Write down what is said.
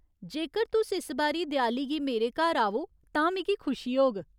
जेकर तुस इस बारी देआली गी मेरे घर आवो तां मिगी खुशी होग।